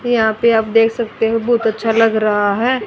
यहां पे आप देख सकते हो बहोत अच्छा लग रहा है।